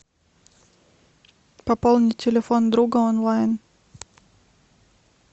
пополнить телефон друга онлайн